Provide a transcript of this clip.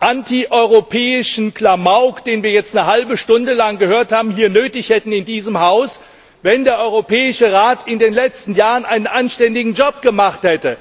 antieuropäischen Klamauk, den wir jetzt eine halbe Stunde lang gehört haben, hier in diesem Haus nötig hätten, wenn der Europäische Rat in den letzten Jahren einen anständigen Job gemacht hätte?